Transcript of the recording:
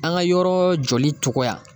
An ka yɔrɔ jɔli cogoya.